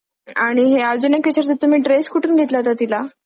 आणि हे अजून एक विचारायचं होतं तुम्ही dress कुठून घेतला होता तिला?